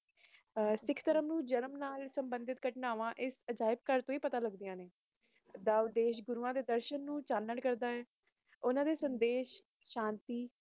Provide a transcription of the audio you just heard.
ਇਕ ਤਰਫ ਪਤਾ ਲੱਗਦੀਆਂ ਨੇ ਡਾਵ ਦੇਸ਼ ਦੇ ਸਪਮਾਨਿਤ ਕਰਦਾ ਹੈ ਉਨ੍ਹਾਂ ਦੇ ਪੈਗ਼ਾਮ ਨੂੰ